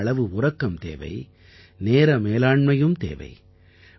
போதுமான அளவு உறக்கம் தேவை நேர மேலாண்மையும் தேவை